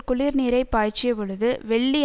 குளிர் நீரைப் பாய்ச்சிய பொழுது வெள்ளி